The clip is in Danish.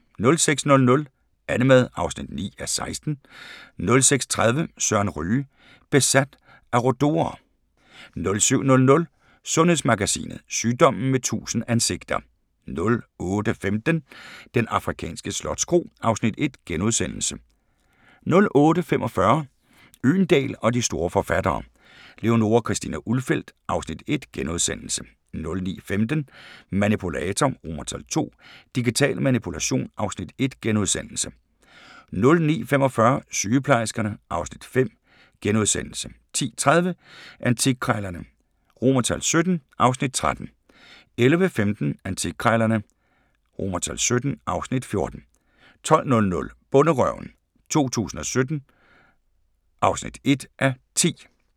06:00: AnneMad (9:16) 06:30: Søren Ryge: Besat af rhodo'er 07:00: Sundhedsmagasinet: Sygdommen med 1000 ansigter 08:15: Den afrikanske slotskro (Afs. 1)* 08:45: Øgendahl og de store forfattere: Leonora Christina Ulfeldt (Afs. 1)* 09:15: Manipulator II – Digital Manipulation (Afs. 1)* 09:45: Sygeplejerskerne (Afs. 5)* 10:30: Antikkrejlerne XVII (Afs. 13) 11:15: Antikkrejlerne XVII (Afs. 14) 12:00: Bonderøven 2017 (1:10)